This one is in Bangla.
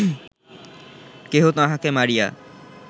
কেহ তাঁহাকে মারিয়া